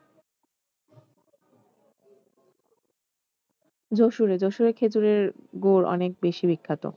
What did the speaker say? যশুরে যশুরে খেজুরের গুড় অনেক বেশি বিখ্যাত